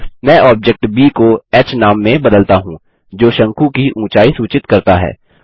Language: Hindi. मैं ऑब्जेक्ट ब को ह नाम में बदलता हूँ जो शंकु की ऊँचाई सूचित करता है